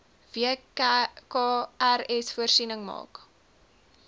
wkrs voorsiening maak